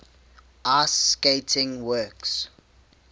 ice skating works